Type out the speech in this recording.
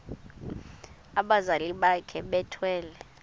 abazali bakhe bethwele